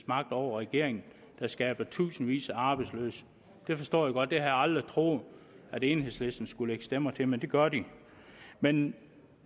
magt over regeringen der skaber tusindvis af arbejdsløse det forstår jeg godt jeg aldrig troet at enhedslisten skulle stemmer til men det gør de men